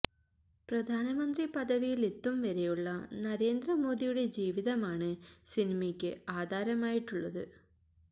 പ്രധാന മന്ത്രി പദവിയിലെത്തും വരെയുള്ള നരേന്ദ്ര മോദിയുടെ ജീവിതമാണ് സിനിമക്ക് ആധാരമായിട്ടുള്ളത്